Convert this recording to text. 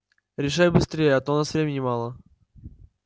решай быстрее а то у нас времени мало